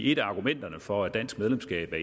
et af argumenterne for dansk medlemskab af